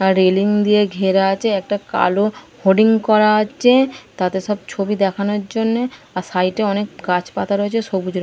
আর railing দিয়ে ঘেরা আছে একটা কালো হোডিং করা আছে । তাতে সব ছবি দেখানোর জন্যে আর সাইডে অনেক গাছপাতা রয়েছে সবুজ র--